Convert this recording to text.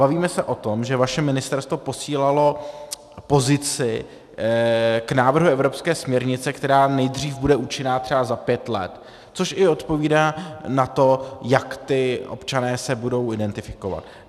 Bavíme se o tom, že vaše ministerstvo posílalo pozici k návrhu evropské směrnice, která nejdřív bude účinná třeba za pět let, což i odpovídá na to, jak ti občané se budou identifikovat.